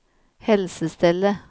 helsestellet